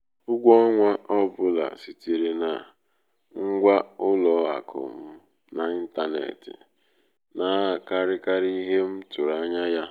ụgwọ ọnwa ọ bụla sitere na na ngwa ụlọ akụ m n'ịntanetị na-akarịkarị ihe m tụrụ anya ya.